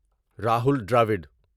Rahul Dravid